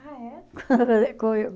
Ah, é?